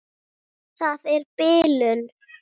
Það er bilun.